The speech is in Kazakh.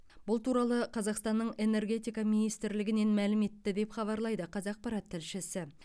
бұл туралы қазақстанның энергетика министрлігінен мәлім етті деп хабарлайды қазақпарат тілшісі